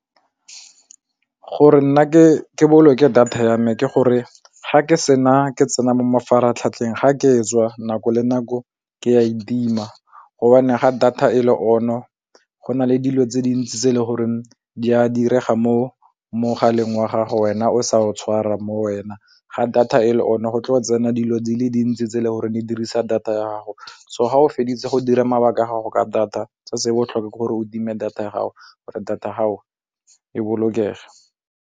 Gore nna ke boloke data ya me ke gore ga ke sena ke tsena mo mafaratlhatlheng ga ke tswa nako le nako ke a etima, gobane ga data e le on-o go na le dilo tse dintsi tse le gore di a direga mo mogaleng wa gago wena o sa o tshwara mo wena ga data e le o ne go tloga tsena dilo di le dintsi tse le gore di dirisa data ya gago, so ga o feditse go dira mabaka a gago ka data se se botlhokwa ke gore o time data ya gago gore data ga go e bolokege.